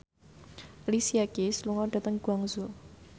Alicia Keys lunga dhateng Guangzhou